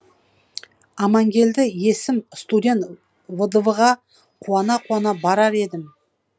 амангелді есім студент вдв ға қуана қуана барар едім